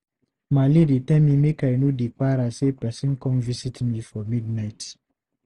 Maale dey tell me make I no dey para sey person come visit me for midnight.